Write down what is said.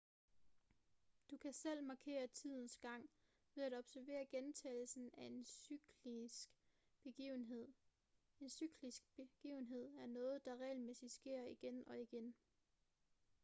du kan selv markere tidens gang ved at observere gentagelsen af en cyklisk begivenhed en cyklisk begivenhed er noget der regelmæssigt sker igen og igen